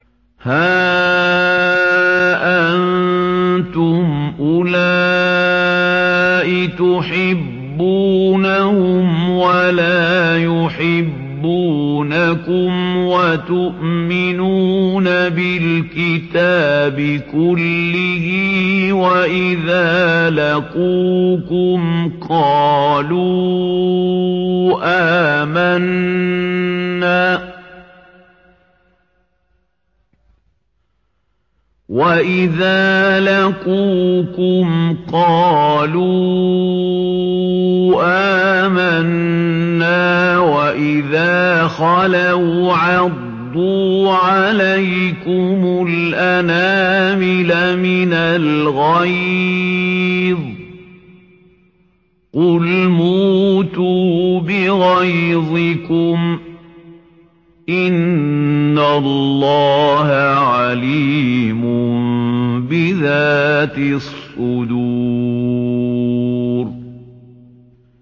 هَا أَنتُمْ أُولَاءِ تُحِبُّونَهُمْ وَلَا يُحِبُّونَكُمْ وَتُؤْمِنُونَ بِالْكِتَابِ كُلِّهِ وَإِذَا لَقُوكُمْ قَالُوا آمَنَّا وَإِذَا خَلَوْا عَضُّوا عَلَيْكُمُ الْأَنَامِلَ مِنَ الْغَيْظِ ۚ قُلْ مُوتُوا بِغَيْظِكُمْ ۗ إِنَّ اللَّهَ عَلِيمٌ بِذَاتِ الصُّدُورِ